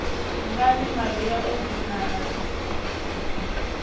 ngani maria o funana na